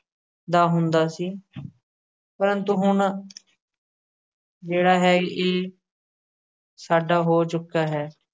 ਦਾ ਹੁੰਦਾ ਸੀ। ਪ੍ਰੰਤੂ ਹੁਣ ਜਿਹੜਾ ਹੈ, ਇਹ ਸਾਡਾ ਹੋ ਚੁੱਕਾ ਹੈ।